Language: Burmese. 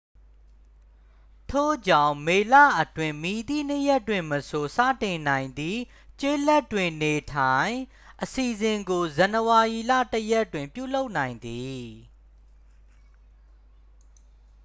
ထို့ကြောင့် မေလအတွင်း မည်သည့်နေ့ရက်တွင်မဆို စတင်နိုင်သည့် ကျေးလက်တွင် နေထိုင် အစီစဉ်ကို ဇန်နဝါရီလ 1 ရက်တွင် ပြုလုပ်နိုင်သည်